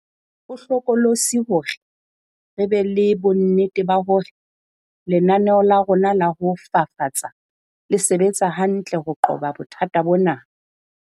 Ho hlokolosi hore re be le bonnete ba hore lenaneo la rona la ho fafatsa le sebetsa hantle ho qoba bothata bona.